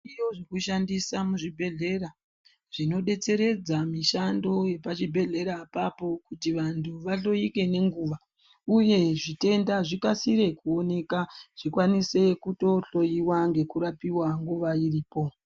Midziyo inoshandiswa muzvibhedhlera inodetseredza mishando yepazvibhedhlera apapo kuti vantu vahloike ngenguwa uye zvitenda zvikasire kuonekwa zvikwanise kutohloiwa ngekurapiwa nguwa iripo.